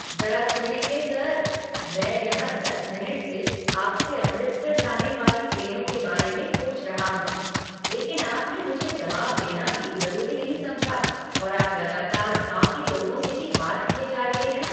जरा सुनेंगे सर! मैं यहाँ दस मिनट से आपसे अमृतसर जाने वाली ट्रेनों के बारे में पूछ रहा हूँ, लेकिन आपने मुझे जवाब देना भी ज़रूरी नहीं समझा और आप लगातार बाकी लोगों से ही बात किए जा रहे हैं।